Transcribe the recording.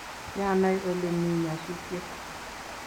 kianai ole mi nyasutiet